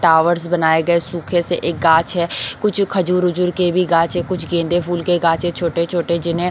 towers बनाये गए सूखे से एक गाछ है कुछ खजूर वजुर के भी गाछ है कुछ गेंदे फूल के गाछ है छोटे-छोटे जिन्हें--